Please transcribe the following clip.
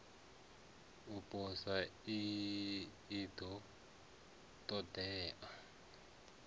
u posa i ḓo ṱoḓea